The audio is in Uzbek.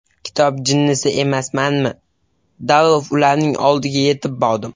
Kitob jinnisi emasmanmi, darrov ularning oldiga yetib bordim.